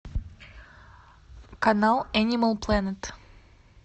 канал энимал плэнет